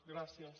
gràcies